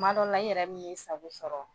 Kuma dɔw la, i yɛrɛ bɛ n'i sago sɔrɔ.